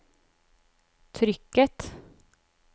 trykket